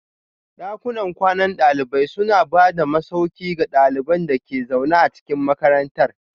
Dakunan kwanan dalibai suna ba da masauki ga ɗaliban da ke zaune a cikin makarantar